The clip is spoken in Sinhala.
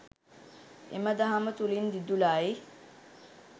එම දහම තුළින් දිදුලයි.